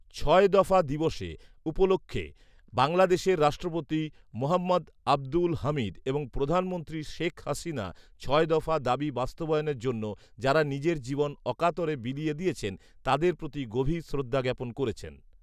ছয় দফা দিবসে উপলক্ষে বাংলাদেশের রাষ্ট্রপতি মোহম্মদ আব্দুল হামিদ এবং প্রধানমন্ত্রী শেখ হাসিনা ছয় দফা দাবি বাস্তবায়নের জন্যে যাঁরা নিজের জীবন অকাতরে বিলিয়ে দিয়েছন, তাঁদের প্রতি গভীর শ্রদ্ধা জ্ঞাপন করেছেন